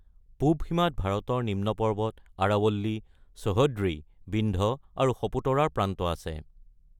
পূব সীমাত ভাৰতৰ নিম্ন পৰ্বত, আৰাৱল্লী, সহ্যদ্ৰী, বিন্ধ্য আৰু সপুতৰাৰ প্ৰান্ত আছে।